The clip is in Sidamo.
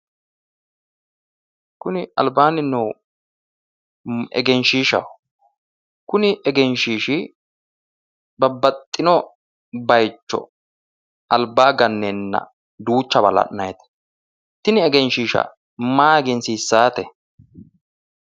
Kuni albaanni noohu egenshshiishshaho. Kuni egenshiishshi babbaxino baayicho albaanni ganneenna duuchawa la'naayite. Tini egenshiisha maa egensiissaate?